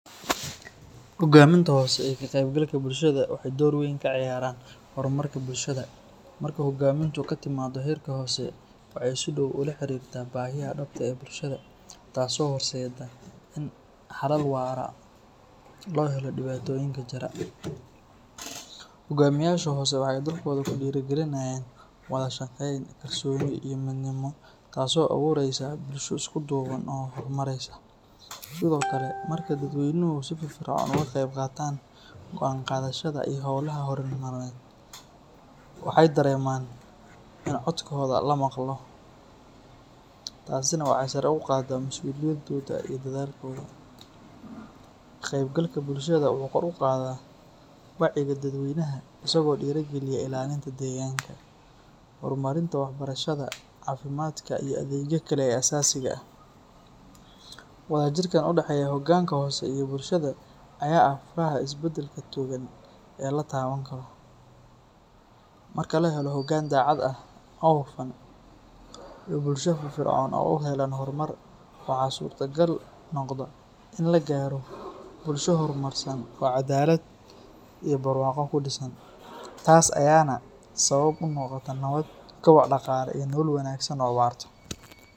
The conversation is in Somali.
Hogaminta hose ee ka qeb galka bulshaada waxee dor weyn ka ciyaran hormarka bulshaada marku u hogaminta katimiid her sare, tas oo horseda hogamiyasha hose oo tusinaya kalsoni, waxee dareman in codkoda lamaqla, waa jirka udaxeya bulshaada fir fircon ee u uhelo hormar waxaa surta gali kartaa in ee noqoto nolol warta.